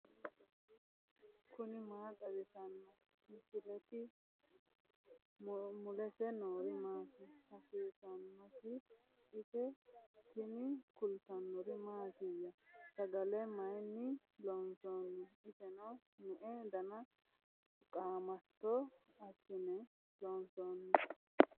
tini maa xawissanno misileeti ? mulese noori maati ? hiissinannite ise ? tini kultannori mattiya? Sagale mayinni loonsooni? isenno me'e danna qaamatto asinne loonsooni?